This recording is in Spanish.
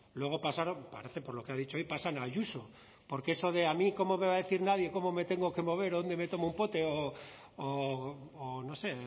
luego pasaron parece por lo que ha dicho hoy pasan a ayuso porque eso de a mí cómo me a decir nadie cómo me tengo que mover o dónde me tomo un pote o no sé